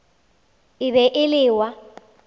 e be e le wa